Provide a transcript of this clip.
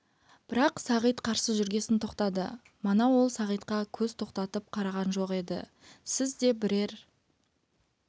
бірақ сағит қарсы жүргесін тоқтады мана ол сағитқа көз тоқтатып қараған жоқ еді сізді де бірер